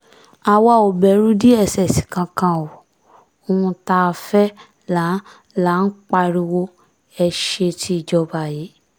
àwa ò bẹ̀rù dss kankan o ohun tá a fẹ́ là ń là ń pariwo ẹ̀ sétí ìjọba yìí